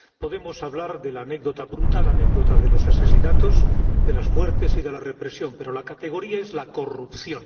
Podemos hablar de la brutal anécdota de los asesinatos, de las muertes y de la represión, pero la categoría es la corrupción.